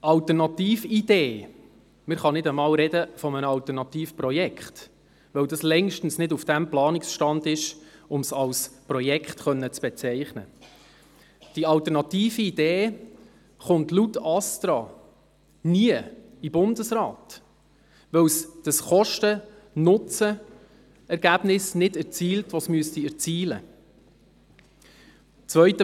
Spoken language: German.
Die Alternatividee – man kann nicht einmal von einem Alternativprojekt sprechen, weil es längst nicht auf dem Planungsstand ist, um es als Projekt bezeichnen zu können – gelangt laut ASTRA niemals in den Bundesrat, weil sie das Kosten-Nutzen-Verhältnis nicht erzielt, welches sie erzielen müsste.